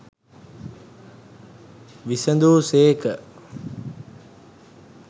විසඳු සේක.